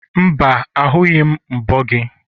mba, ahụghị m mbo gị.